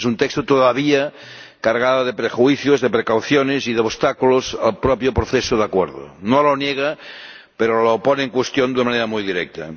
es un texto todavía cargado de prejuicios, de precauciones y de obstáculos al propio proceso de acuerdo no lo niega, pero lo pone en cuestión de manera muy directa.